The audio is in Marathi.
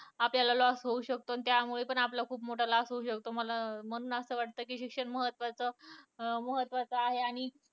आपल्याला loss होऊ शकतो. त्यामुळे आपला पण खूप मोठा loss होऊ शकतो, मला म्हणून असं वाटतं कि शिक्षण महत्वाचं, अं महत्वाचं आहे आणि